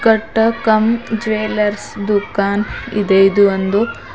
ಕಟ್ಟಕಮ್ jewellers ದುಖಾನ ಇದೆ ಇದು ಒಂದು--